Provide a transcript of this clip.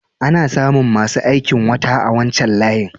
Ana samu masu aikin wata a wancan layin.